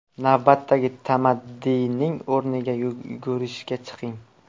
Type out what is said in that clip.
Navbatdagi tamaddining o‘rniga yugurishga chiqing.